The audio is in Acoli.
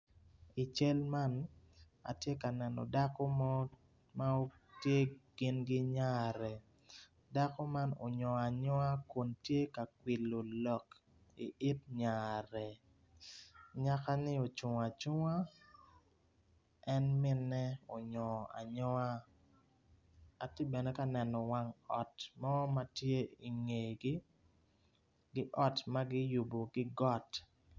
I cal man atye ka neno dako mo ma tye gin ki nyare dako man onyongo anyonga kun tye ka kwilo lok i it nyare anyak-ni ocung acunga en minne onyongo anygonga atye nene kanen wang ot mo ma tye i ngegi ki ot ma kiyubo ki got.